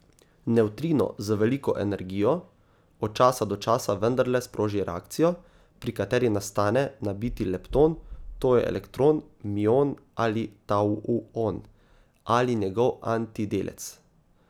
Nevtrino z veliko energijo od časa do časa vendarle sproži reakcijo, pri kateri nastane nabiti lepton, to je elektron, mion ali tauon, ali njegov antidelec.